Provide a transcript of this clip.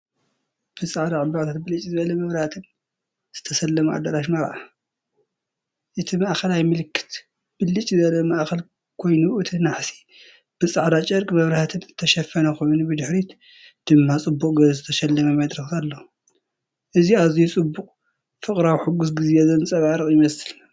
ብጻዕዳ ዕምባባታትን ብልጭ ዝብል መብራህትን ዝተሰለመ ኣዳራሽ መርዓ። እቲ ማእከላይ ምልክት ብልጭ ዝብል ማእከል ኮይኑእቲ ናሕሲ ብጻዕዳ ጨርቂን መብራህትን ዝተሸፈነ ኮይኑ ብድሕሪት ድማ ጽቡቕ ጌሩ ዝተሰለመ መድረኽ ኣሎ። እዚ ኣዝዩ ጽቡቕ፡ ፍቕራዊ፡ ሕጉስ ግዜ ዘንጸባርቕ ይመስል።